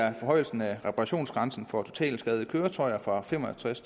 om forhøjelsen af reparationsgrænsen for totalskadede køretøjer fra fem og tres